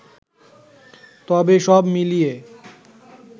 তবে সব মিলিয়ে